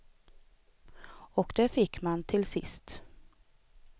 Och det fick man till sist.